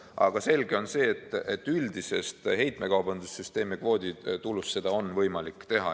Aga selge on see, et üldisest heitmekaubanduse süsteemi kvooditulust seda on võimalik teha.